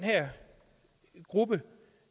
gruppe